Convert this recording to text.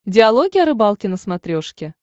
диалоги о рыбалке на смотрешке